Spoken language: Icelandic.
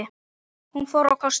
Hún fór á kostum.